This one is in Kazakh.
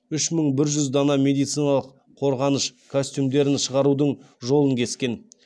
үш мың бір жүз дана медициналық қорғаныш костюмдерін шығарудың жолын кескен